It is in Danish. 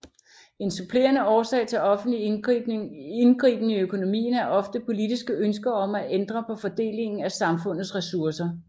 En supplerende årsag til offentlig indgriben i økonomien er ofte politiske ønsker om at ændre på fordelingen af samfundets resurser